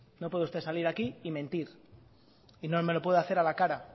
no puede usted salir aquí y mentir y no me lo puede hacer a la cara